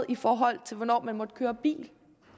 i forhold til hvornår man må køre bil